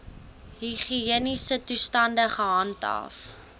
higiëniese toestande gehandhaaf